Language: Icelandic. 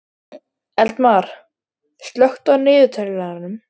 Eldmar, slökktu á niðurteljaranum.